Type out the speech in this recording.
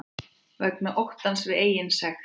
Vegna óttans við eigin sekt.